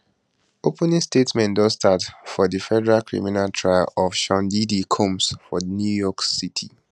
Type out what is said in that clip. opening statements don start for di federal criminal trial of sean diddy combs for new york city